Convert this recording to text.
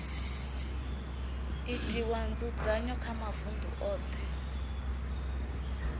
itwa nzudzanyo kha mavunḓu oṱhe